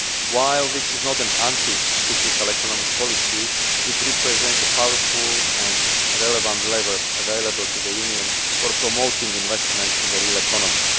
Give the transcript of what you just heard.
While this is not an anti cyclical economic policy, it represents a powerful and relevant lever available to the Union for promoting investment in the real economy.